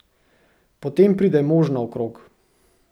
Potem pride mož naokrog.